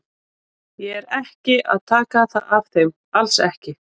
Ég er ekki að taka það af þeim, alls ekki.